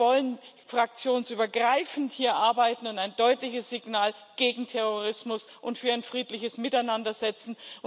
Wir wollen hier fraktionsübergreifend arbeiten und ein deutliches Signal gegen Terrorismus und für ein friedliches Miteinander setzen.